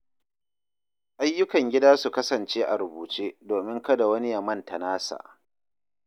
Ayyukan gida su kasance a rubuce domin kada wani ya manta nasa.